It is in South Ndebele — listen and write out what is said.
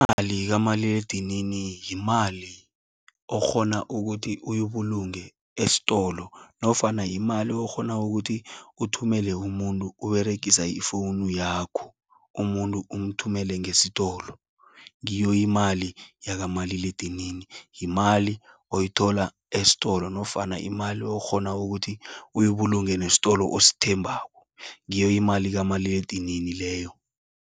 Imali, kamaliledinini, yimali okghona ukuthi uyibulunge estolo. Nofana yimali, okghona ukuthi uthumele umuntu Uberegisa ifowunu yakho. Umuntu umthumele ngesitolo. Ngiyo imali yakamaliledinini. Yimali oyithola estolo, nofana imali okghona ukuthi, uyibulungele nestolo osthembako. Ngiyo imali kamaliledinini leyo.